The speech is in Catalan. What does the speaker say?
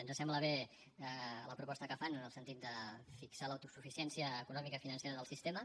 ens sembla bé la proposta que fan en el sentit de fixar l’autosuficiència econòmica i financera del sistema